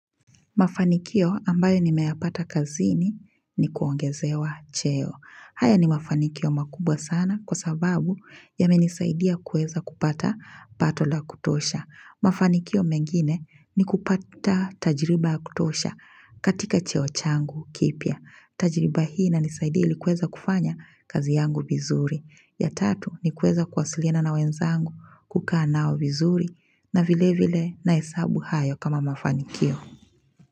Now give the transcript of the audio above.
Mafanikio ambayo nimeyapata kazini ni kuongezewa cheo. Haya ni mafanikio makubwa sana kwa sababu yamenisaidia kuweza kupata pato la kutosha. Mafanikio mengine ni kupata tajiriba ya kutosha katika cheo changu kipya. Tajiriba hii inanisaidia ili kuweza kufanya kazi yangu vizuri. Ya tatu ni kuweza kuwasilina na wenzangu kukaa nao vizuri na vile vile na hesabu hayo kama mafanikio.